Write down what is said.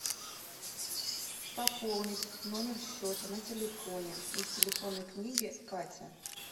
пополнить номер счета на телефоне из телефонной книги катя